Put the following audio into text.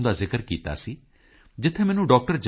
com ਦਾ ਜ਼ਿਕਰ ਕੀਤਾ ਸੀ ਜਿੱਥੇ ਮੈਨੂੰ ਡਾ